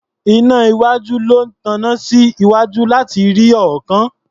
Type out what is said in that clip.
Iná iwájú ló taná sí iwájú láti rí ọ̀ọ́kán.